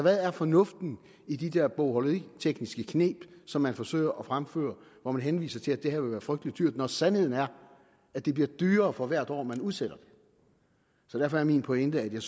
er fornuften i de der bogholderitekniske kneb som man forsøger at fremføre hvor man henviser til at det her vil være frygtelig dyrt når sandheden er at det bliver dyrere for hvert år man udsætter det derfor er min pointe at jeg